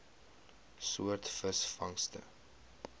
soort visvangste